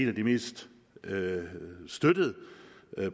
af de mest støttede støttede